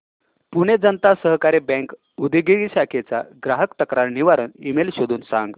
Pune Janata Sahakari bank Udgir शाखेचा ग्राहक तक्रार निवारण ईमेल शोधून सांग